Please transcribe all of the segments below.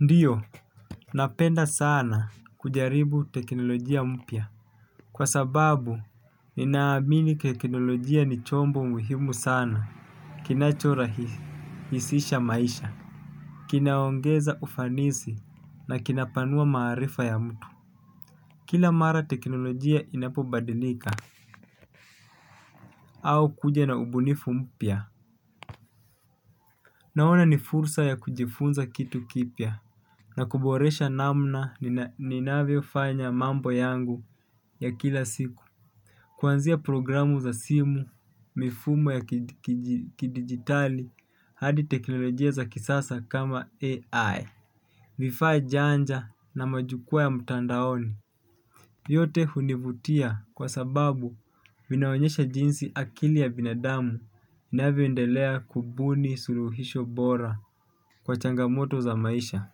Ndiyo, napenda sana kujaribu teknolojia mpya. Kwa sababu, ninaamini teknolojia ni chombo muhimu sana. Kinachorahisisha maisha. Kinaongeza ufanisi na kinapanua maarifa ya mtu. Kila mara teknolojia inapobadilika. Au kuja na ubunifu mpya. Naona ni fursa ya kujifunza kitu kipya. Na kuboresha namna ninavyofanya mambo yangu ya kila siku. Kuanzia programu za simu mifumo ya kidigitali hadi teknolojia za kisasa kama AI. Vifaa janja na majukwaa ya mtandaoni. Yote hunivutia kwa sababu vinaonyesha jinsi akili ya binadamu inavyoendelea kubuni suluhisho bora kwa changamoto za maisha.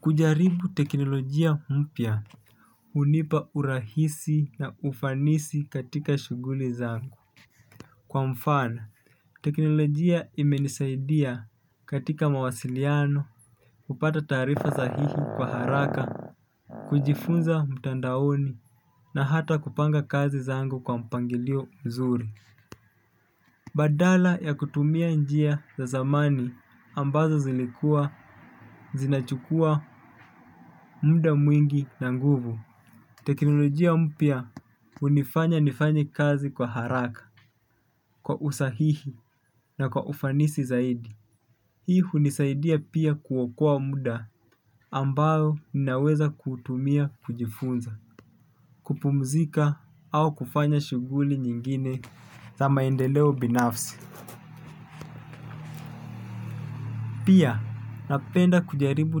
Kujaribu teknolojia mpya hunipa urahisi na ufanisi katika shughuli zangu kwa mfano teknolojia imenisaidia katika mawasiliano kupata taarifa sahihi kwa haraka kujifunza mtandaoni na hata kupanga kazi zangu kwa mpangilio mzuri. Badala ya kutumia njia za zamani ambazo zilikua, zinachukua, muda mwingi na nguvu. Teknolojia mpya hunifanya nifanye kazi kwa haraka kwa usahihi na kwa ufanisi zaidi. Hii hunisaidia pia kuokoa muda ambayo ninaweza kutumia kujifunza kupumzika au kufanya shughuli nyingine za maendeleo binafsi pia napenda kujaribu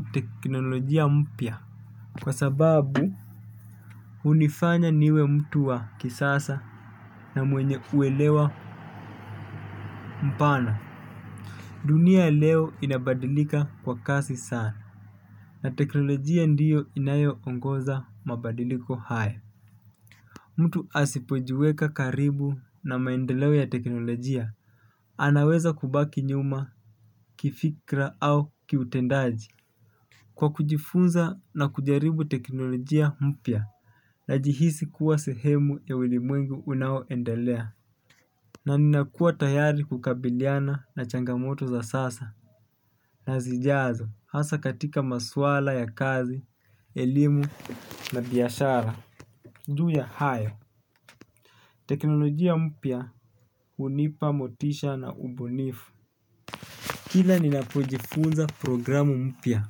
teknolojia mpya kwa sababu hunifanya niwe mtu wa kisasa na mwenye uelewa mpana. Dunia leo inabadilika kwa kasi sana, na teknolojia ndiyo inayoongoza mabadiliko haya. Mtu asipojiweka karibu na maendeleo ya teknolojia, anaweza kubaki nyuma, kifikra au kiutendaji. Kwa kujifunza na kujaribu teknolojia mpya, najihisi kuwa sehemu ya ulimwengu unaoendelea. Na ninakua tayari kukabiliana na changamoto za sasa na zijazo hasa katika masuala ya kazi, elimu na biashara ju ya hayo. Teknolojia mpya hunipa motisha na ubunifu. Kila ninapojifunza programu mpya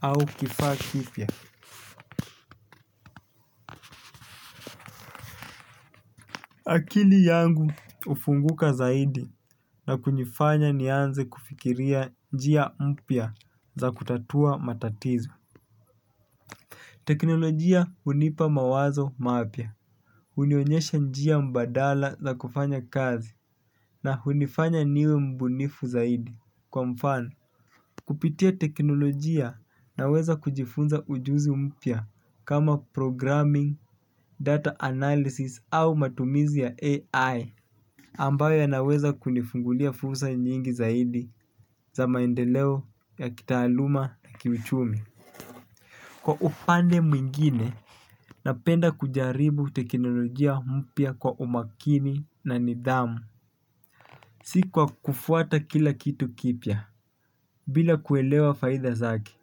au kifaa kipya akili yangu hufunguka zaidi na kunifanya nianze kufikiria njia mpya za kutatua matatizo. Teknolojia hunipa mawazo mapya hunionyesha njia mbadala za kufanya kazi na hunifanya niwe mbunifu zaidi kwa mfano. Kupitia teknolojia naweza kujifunza ujuzi mpya kama programming, data analysis au matumizi ya AI Ambayo yanaweza kunifungulia fursa nyingi zaidi za maendeleo ya kitaaluma na kiuchumi. Kwa upande mwingine, napenda kujaribu teknolojia mpya kwa umakini na nidhamu. Si kwa kufuata kila kitu kipya, bila kuelewa faida zake.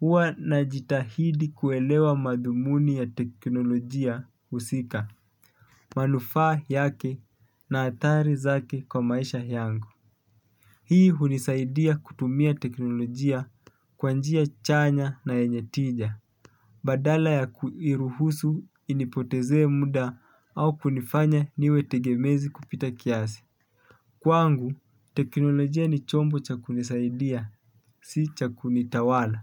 Huwa najitahidi kuelewa madhumuni ya teknolojia husika. Manufaa yake na athari zake kwa maisha yangu. Hii hunisaidia kutumia teknolojia kwa njia chanya na yenye tija. Badala ya kuiruhusu inipotezee muda au kunifanya niwe tegemezi kupita kiasi. Kwangu, teknolojia ni chombo cha kunisaidia, si cha kunitawala.